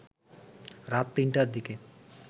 রাত তিনটার দিকে